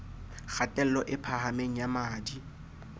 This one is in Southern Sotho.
kgatello e phahameng ya madi